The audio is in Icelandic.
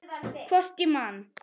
Hvort ég man.